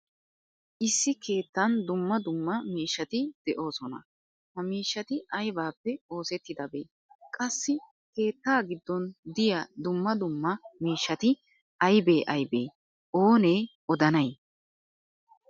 Issi keettan dumma dumma miishshati deosona. Ha miishshati aybappe oosettidabe? Qassi keetta giddon diya dumma dumma miishshati aybe aybe? OOne odanay?